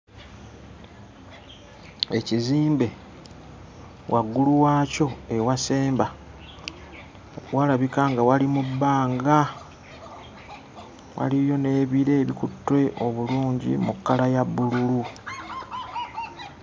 Ekizimbe waggulu waakyo ewasemba walabika nga wali mu bbanga, waliyo n'ebire ebikutte obulungi mu kkala ya bbululu.